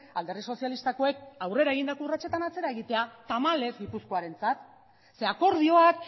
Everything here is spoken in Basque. alderdi sozialistakoek aurrera egindako urratsetan atzera egitea tamalez gipuzkoarentzat ze akordioak